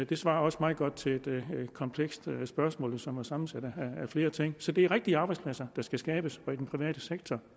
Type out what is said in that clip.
det svarer også meget godt til et komplekst spørgsmål som jo er sammensat af flere ting så ja det er rigtige arbejdspladser der skal skabes i den private sektor